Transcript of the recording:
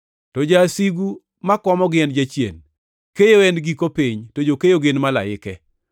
to jasigu ma komogi en Jachien. Keyo en giko piny, to jokeyo gin malaike.